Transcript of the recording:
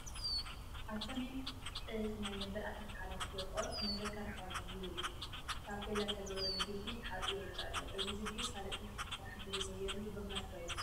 ኣብ ሰሜን ዕዝ ናይ መበል 11 ክፍለ ጦር መዘከሪ ሓወልቲ ዝብል ታፔላ ዝተገበረሉ ግቢ ተሓፂሩ ይርአ ኣሎ፡፡ እዚ ግቢ ካልእ ተወሳኺ ስራሕ እንተዘይተገይሩሉ ብኽነት ዶ ኣይኸውንን?